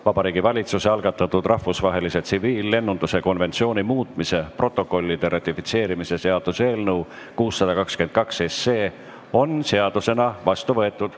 Vabariigi Valitsuse algatatud rahvusvahelise tsiviillennunduse konventsiooni muutmise protokollide ratifitseerimise seaduse eelnõu 622 on seadusena vastu võetud.